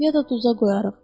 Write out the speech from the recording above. Ya da duza qoyarıq.